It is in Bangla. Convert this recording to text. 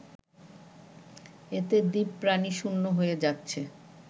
এতে দ্বীপ প্রাণীশূন্য হয়ে যাচ্ছে